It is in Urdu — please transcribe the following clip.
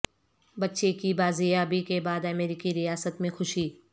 بچے کی بازیابی کے بعد امریکی ریاست میں خوشی